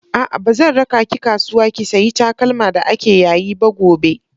A'a, ba zan raka ki kasuwa ki sayi takalma da ake yayi ba gobe.